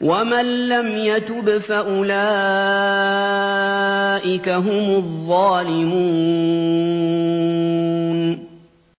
وَمَن لَّمْ يَتُبْ فَأُولَٰئِكَ هُمُ الظَّالِمُونَ